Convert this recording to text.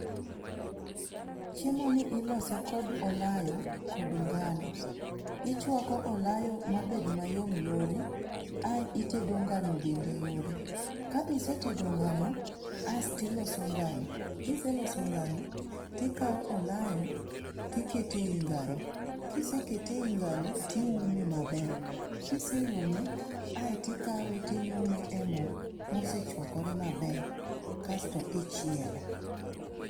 Chiemo ni ilose kod olayo kod ngano. Ichuako olayo mabed mayom yore ae itedo ngano bende yore. ka isetedo ngano, astiloso ngano. Kiseloso ngano, tikao olayo tikete ei ngano, kisekete ei ngano, tiume maber. kiseuma, aetikawe tinyume e moo mosechuakore maber kasto ichiele